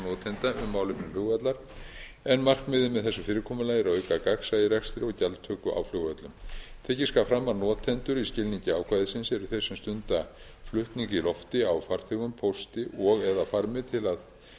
notanda um málefni flugvallar en markmiðið með þessu fyrirkomulagi er að auka gagnsæi í rekstri og gjaldtöku á flugvöllum tekið skal fram að notendur í skilningi ákvæðisins eru þeir sem stunda flutning í lofti á farþegum pósti og eða farmi